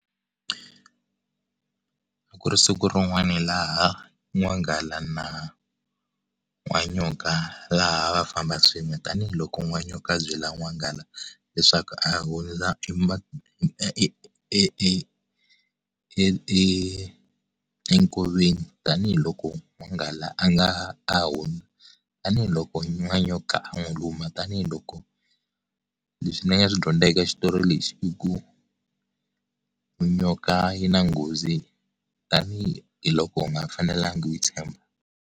A ku ri siku rin'wana laha n'wanghala na, n'wanyoka, laha a va famba swin'we. Tanihi loko n'wa nyoka a byela n'wanghala, leswaku a hundza e e e e e enkoveni. Tanihi loko n'wanghala a nga a . Tanihi loko n'wanyoka a n'wi luma. Tanihi loko, leswi ni nga swi dyondza eka xitori lexi i ku, nyoka yi na nghozi, tanihiloko u nga fanelangi u yi tshemba.